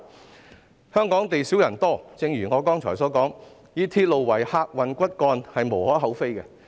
正如我剛才所說，香港地少人多，以鐵路為客運骨幹屬無可厚非。